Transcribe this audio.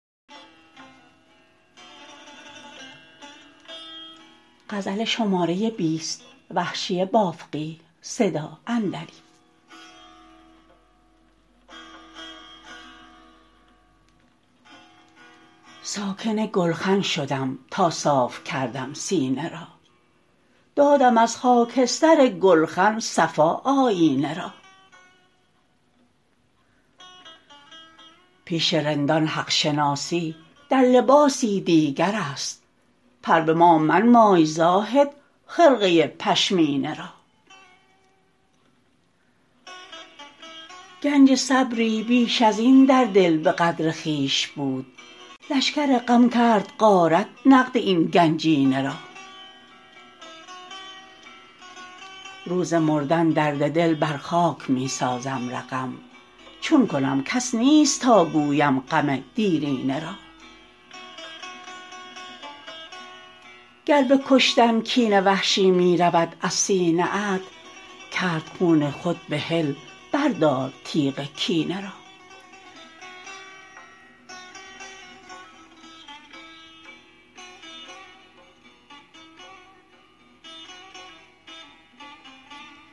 ساکن گلخن شدم تا صاف کردم سینه را دادم از خاکستر گلخن صفا آیینه را پیش رندان حق شناسی در لباسی دیگر است پر به ما منمای زاهد خرقه پشمینه را گنج صبری بیش ازین در دل به قدر خویش بود لشکر غم کرد غارت نقد این گنجینه را روز مردن درد دل بر خاک می سازم رقم چون کنم کس نیست تا گویم غم دیرینه را گر به کشتن کین وحشی می رود از سینه ات کرد خون خود بحل بردار تیغ کینه را